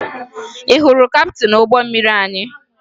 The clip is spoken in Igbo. Ị hụrụ kaptịn ụgbọ mmiri anyị?